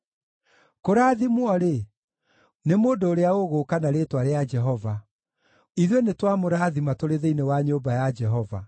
Kũrathimwo-rĩ, nĩ mũndũ ũrĩa ũgũũka na rĩĩtwa rĩa Jehova. Ithuĩ nĩtwamũrathima tũrĩ thĩinĩ wa nyũmba ya Jehova.